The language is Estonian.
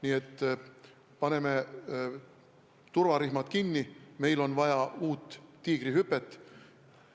Nii et paneme turvarihmad kinni, meil on vaja uut Tiigrihüpet.